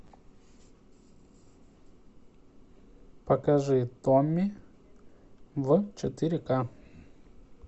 покажи томми в четыре ка